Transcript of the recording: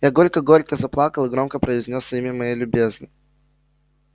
я горько горько заплакал и громко произнёс имя моей любезной